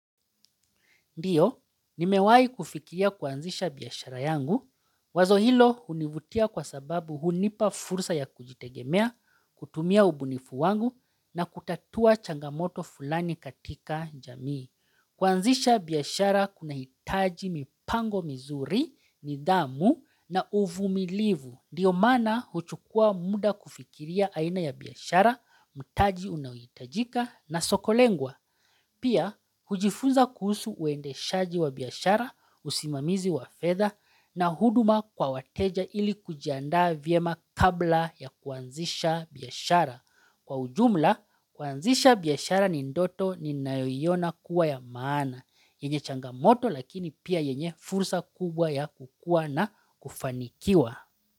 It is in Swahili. Ndio, nimewahi kufikiria kuanzisha biashara yangu. Wazo hilo hunivutia kwa sababu hunipa fursa ya kujitegemea, kutumia ubunifu wangu na kutatua changamoto fulani katika jamii. Kuanzisha biashara kunahitaji mipango mizuri, nidhamu na uvumilivu. Ndio maana huchukua muda kufikiria aina ya biashara, mtaji unaohitajika na soko lengwa. Pia, hujifunza kuhusu uendeshaji wa biashara, usimamizi wa fedha na huduma kwa wateja ili kujiandaa vyema kabla ya kuanzisha biashara. Kwa ujumla, kuanzisha biashara ni ndoto ninayoiona kuwa ya maana, yenye changamoto lakini pia yenye fursa kubwa ya kukua na kufanikiwa.